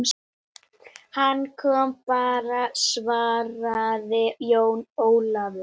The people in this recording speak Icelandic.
Hann kom bara, svaraði Jón Ólafur.